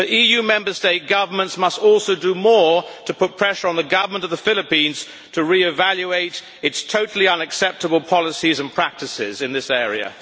But EU Member State governments must also do more to put pressure on the government of the Philippines to re-evaluate its totally unacceptable policies and practices in this area.